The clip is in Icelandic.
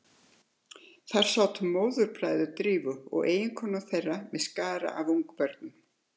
Þar sátu móðurbræður Drífu og eiginkonur þeirra með skara af ungum börnum.